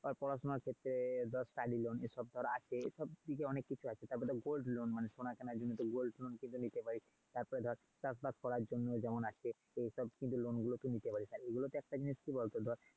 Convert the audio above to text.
পড়াশোনার ক্ষেত্রে ধর study loan, এসব ধর আছে. এসব দিকে অনেক কিছু আছে। তারপর ধর gold loan মানে সোনা কেনার জন্য gold loan কিন্তু নিতে পারিস। তারপর ধর চাষবাস করার জন্য যেমন আছে. এসব কিন্তু loan গুলো তুই নিতে পারিস। হ্যাঁ এগুলো তে একটা জিনিস কি বলতো।